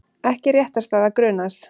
Ekki réttarstaða grunaðs